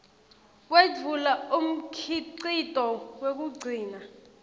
wetfula umkhicito wekugcina